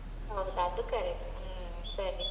ಹೌದು ಅದು correct ಹ್ಮೂ ಸರಿ ಸ.